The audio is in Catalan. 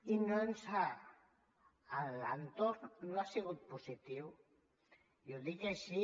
i l’entorn no ha sigut positiu i ho dic així